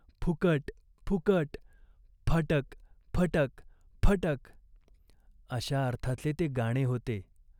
फुकट, फुकट." "फटक फटक्त फटक !" अशा अर्थाचे ते गाणे होते.